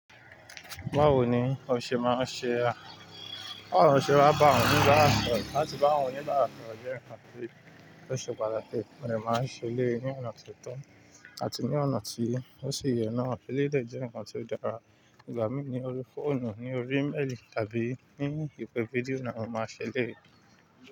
Báwo ni o ṣe máa ṣe báwo ni o ṣe máa ń bá àwọn oníbàrà sọ̀rọ̀? Láti bá àwọn oníbàrà sọ̀rọ̀ jẹ́ nko, tí ó ṣe pàtàkì mo dẹ̀ máa ń ṣe eléyìí ní ọ̀nà tí ó tọ́ àti ní ọ̀nà tí ó sì yẹ náà. Eléyìí dẹ̀ jẹ́ ǹkan tí ó dára. Ìgbà mí ní orí fóònù, ní orí iméèlì tàbí ní ìpè fídíò náà mo máa ṣe eléyìí.